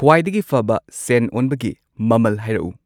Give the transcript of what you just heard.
ꯈ꯭ꯋꯥꯗꯒꯤ ꯐꯕ ꯁꯦꯟ ꯑꯣꯟꯕꯒꯤ ꯃꯃꯜ ꯍꯥꯢꯔꯛꯎ